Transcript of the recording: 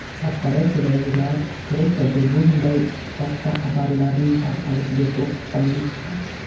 Korporatsiyadagilar fikricha, bu bunday soxta xabarlarning tarqalishiga to‘sqinlik qiladi.